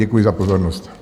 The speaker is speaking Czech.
Děkuji za pozornost.